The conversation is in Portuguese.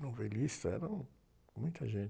Novelista, era um, muita gente.